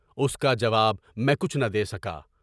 اُس کا جواب میں کچھ نہ دے سکا۔